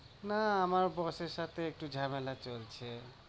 না, আমার boss এর সাথে একটু ঝামেলা চলছে।